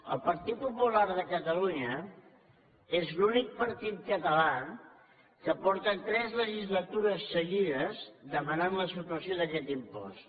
el partit popular de catalunya és l’únic partit català que fa tres legislatures seguides que demana la supressió d’aquest impost